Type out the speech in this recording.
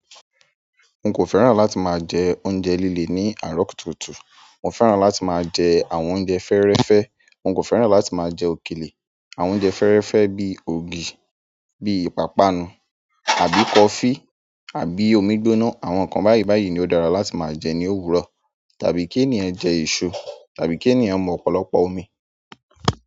Nkó fẹ́ràn láti maa jẹ oúnjẹ lílé ni arọ kùtùkùtù mo fẹ́ràn láti maa jẹ àwọn oúnjẹ fẹ́ẹ́rẹ́fẹ́ nkó fẹ́ràn láti maa jẹ òkèlè. Àwọn oúnjẹ fẹ́rẹ́fẹ́ bí i ògì, bíi ìpápánu àbí kọfí àbí omi gbóná. Àwọn nǹkan báyìí báyìí ni ó dára láti máa jẹ ní òwúrọ̀. Tàbí kí ènìyàn jẹ èso, tàbí kí ènìyàn mu ọ̀pọ̀lọpọ̀ omi.